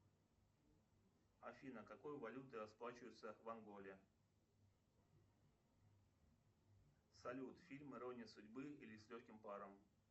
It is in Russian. афина какой валютой расплачиваются в анголе салют фильм ирония судьбы или с легким паром